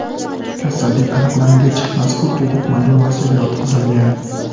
Kasallik aniqlangach, mazkur tug‘ruq majmuasiga yotqizilgan.